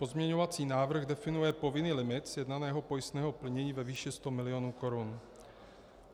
Pozměňovací návrh definuje povinný limit sjednaného pojistného plnění ve výši 100 milionů korun.